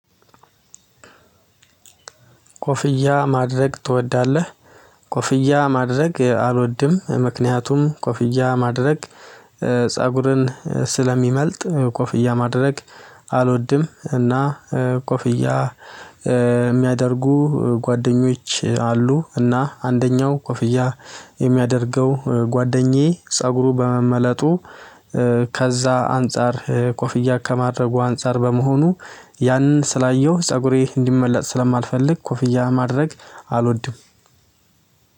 ኮፍያ ማድረግ ትወዳለህ፤? ኮፍያ ማድረግ አልወድም ምክንያቱም ኮፍያ ማድረግ ፀጉሬን ስለሚመልጥ ኮፍያ ማድረግ አልወድም። እና ኮፍያ የሚያደርጉ ጓደኞች አሉ። እና አንደኛው ኮፍያ የሚያደርገው ጓደኛዬ ፀጉሩ በመመላቱ ከዛ አንፃር ኮፍያ ከማድረጉ አንፃር በመሆኔ ያንን ስላየሁ ፀጉሬ እንዲመሰጥ ስልማልፈልግ ኮፍያ ማድረግ አልወድም።